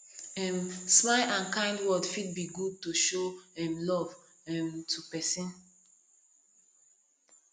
um smiles and kind words fit be good to show um love um to pesin